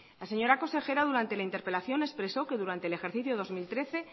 la señora consejera durante la interpelación expresó que durante el ejercicio dos mil trece